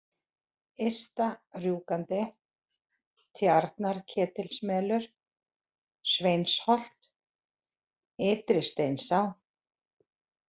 Ysta-Rjúkandi, Tjarnarketilsmelur, Sveinsholt, Ytri-Steinsá